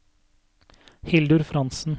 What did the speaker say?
Hildur Frantzen